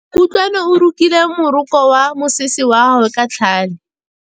Kutlwanô o rokile morokô wa mosese wa gagwe ka tlhale.